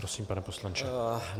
Prosím, pane poslanče.